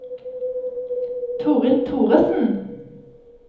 Torill Thoresen